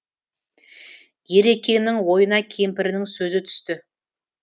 ерекеңнің ойына кемпірінің сөзі түсті